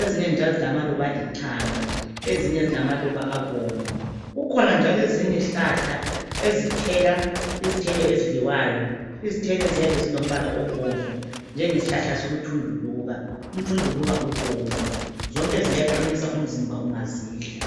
ezinye njalo zilamaluba alithanga ,ezinye zilamaluba abomvu, kukhona njalo ezinye izihlahla ezithela izithelo ezithelo ezidliwayo ,izithelo eziyabe zilo mbala obomvu njengo mthunduluka. Umthunduluka ubomvu, zonke ziyaqinisa umzimba ungazidla .